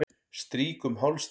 Strýk um háls þinn.